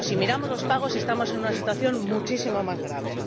Pero si miramos los pagos estamos en una situación muchísimo más grave.